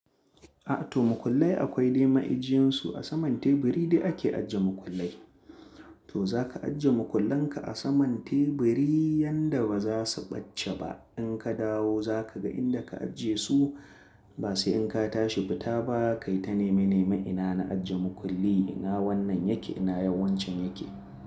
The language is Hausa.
A to mukullai akwai dai ma'ijiyan su a saman teburi dai ake ajiye mukullai. To zaka ajiye mukullan ka a saman teburi yanda baza su ɓace ba. In ka dawo zaka ga inda ka ajiye su. Ba sai in ka tashi fita ba kai ta nema nema ina na ajiye mukulli ina wannan yake ina wancan yake.